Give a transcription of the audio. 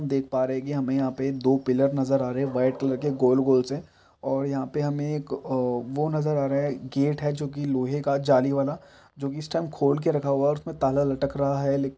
-- देख पा रहे है कि हमें यहाँ पे दो पिलर नजर आ रहे है व्हाइट कलर के गोल- गोल से और यहाँ पे हमें एक अ वो नजर आ रहा हैं गेट है जो कि लोहे का जाली वाला जो कि इस टाइम खोल के रखा हुआ है और उसमें ताला लटक रहा हैं ले--